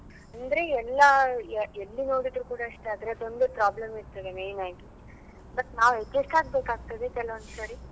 ಅಂದ್ರೆ ಎಲ್ಲಾ ಎ~ ಎಲ್ಲಿ ನೋಡಿದ್ರು ಕೂಡ ಅಷ್ಟೇ ಅದ್ರದೊಂದೇ problem ಇರ್ತದೆ main ಆಗಿ but ನಾವ್ adjust ಆಗ್ಬೇಕಾಗ್ತದೆ ಕೆಲವೊಂದ್ ಸರಿ.